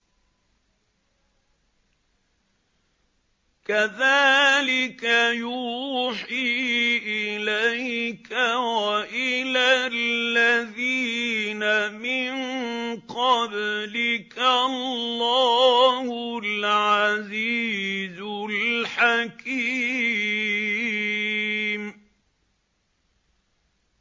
كَذَٰلِكَ يُوحِي إِلَيْكَ وَإِلَى الَّذِينَ مِن قَبْلِكَ اللَّهُ الْعَزِيزُ الْحَكِيمُ